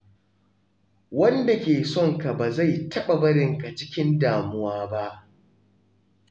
Wanda ke son ka ba zai taɓa barin ka cikin damuwa ba.